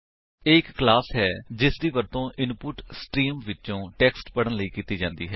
ਇਹ ਇੱਕ ਕਲਾਸ ਹੈ ਜਿਸਦੀ ਵਰਤੋ ਇਨਪੁਟ ਸਟਰੀਮ ਵਿਚੋ ਟੇਕਸਟ ਪੜਨ ਲਈ ਕੀਤੀ ਜਾਂਦੀ ਹੈ